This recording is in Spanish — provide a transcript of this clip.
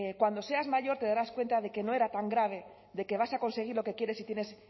cuando seas mayor te darás cuenta de que no era tan grave de que vas a conseguir lo que quieres si tienes